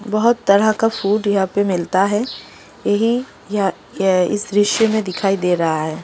बहोत तरह का फूड यहां पे मिलता है यही यहां यह-य इस दृश्य में दिखाई दे रहा है।